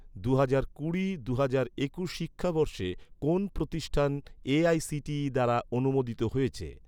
দুহাজার কুড়ি দুহাজার একুশ শিক্ষাবর্ষে কোন প্রতিষ্ঠান এ.আই.সি.টি.ই দ্বারা অনুমোদিত হয়েছে?